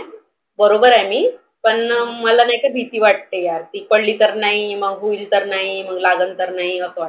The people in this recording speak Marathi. बरोबर आहे मी. पण नाहीका मला भिती वाटते यार. पडली तर नाही मग तर नाही, मग लागल तर नाही असं वाटतं.